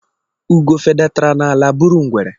Ugo fedatara n'ala buru ngwere